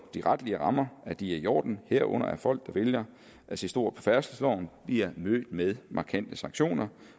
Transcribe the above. de retlige rammer er i orden herunder at folk der vælger at se stort på færdselsloven bliver mødt med markante sanktioner